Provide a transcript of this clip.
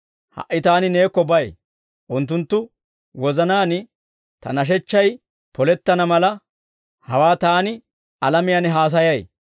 «Ha"i Taani Neekko bay; unttunttu wozanaan Ta nashechchay polettana mala, hawaa Taani alamiyaan haasayay.